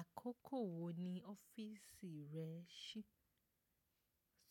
Àkókò wo ni ọ́fíìsì rẹ ń ṣí?